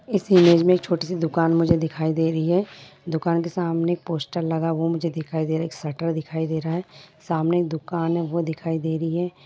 इस इमेज में एक छोटी सी दुकान मुझे दिखाई दे रही है| दुकान के सामने एक पोस्टर लगा हुआ मुझे दिखाई दे रहा है| एक शटर दिखाई दे रहा है| सामने एक दुकान है वो दिखाई दे रही है।